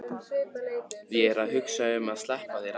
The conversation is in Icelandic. Ég er að hugsa um að sleppa þér aldrei.